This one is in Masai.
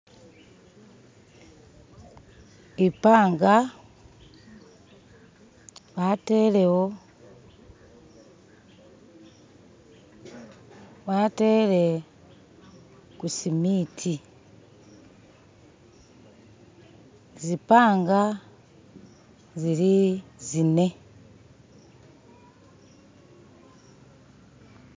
Ipanga w'atele ku'sementi, zi'panga zili zine.